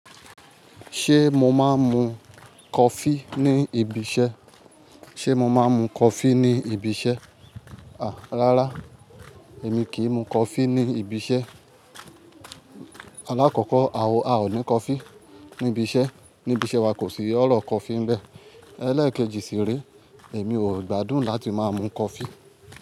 Ṣé mo máa ń mu coffee ní ibi iṣẹ́? Ṣé mo máa ń mu coffee ní ibi iṣẹ́? À, rárá, èmi kì í mu coffee ní ibi iṣẹ́. Alákọ̀kọ́, a ò ní coffee níbi iṣẹ́. Ní ibi iṣẹ́ wa kò sí ọ̀rọ̀ coffee n bẹ́. Elékèjì sì rẹ, èmi ò gbádùn láti máa mu coffee.